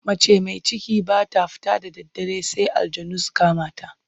Mace mai ciki ba ta fita da daddare sai aljanu su kama ta.